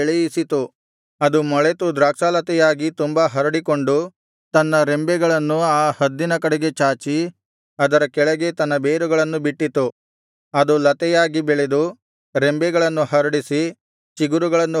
ಅದು ಮೊಳೆತು ದ್ರಾಕ್ಷಾಲತೆಯಾಗಿ ತುಂಬಾ ಹರಡಿಕೊಂಡು ತನ್ನ ರೆಂಬೆಗಳನ್ನು ಆ ಹದ್ದಿನ ಕಡೆಗೆ ಚಾಚಿ ಅದರ ಕೆಳಗೆ ತನ್ನ ಬೇರುಗಳನ್ನು ಬಿಟ್ಟಿತು ಅದು ಲತೆಯಾಗಿ ಬೆಳೆದು ರೆಂಬೆಗಳನ್ನು ಹರಡಿಸಿ ಚಿಗುರುಗಳನ್ನು ಹೊರಡಿಸಿತು